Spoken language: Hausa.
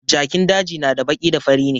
Jakin daji na da baki da fari ne